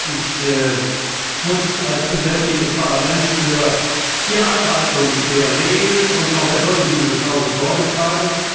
Ich muss als Präsident dieses Parlaments für die Einhaltung der Regeln und auch der Würde dieses Hauses Sorge tragen.